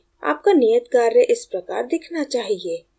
आपका कार्य इस प्रकार दिखना चाहिए